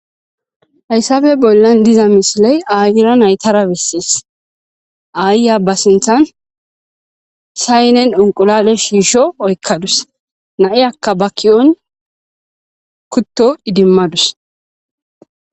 Hayssabe bollan diza misiley aayira naytarabissees aayya ba sinthan saynen onqulade shiisho oykkadus na7e akka ba kiyon kutto idimmadus.